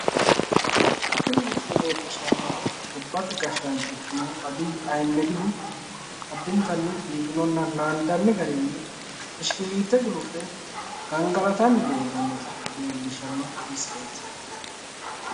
tini misile leellishshannohu gobbate gashshaancho ikkinohu abiyyi ahimedihu addintanni biifinonna naandani garinni bishikilliitte gulufe gangalatanni noota leellishshanno misileeti.